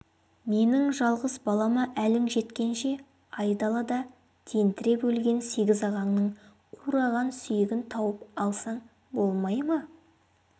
менің жалғыз балама әлің жеткенше айдалада тентіреп өлген сегіз ағаңның қураған сүйегін тауып алсаң болмай ма